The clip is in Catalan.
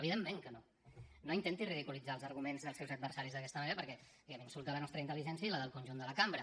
evidentment que no no intenti ridiculitzar els arguments dels seus adversaris d’aquesta manera perquè insulta la nostra intel·ligència i la del conjunt de la cambra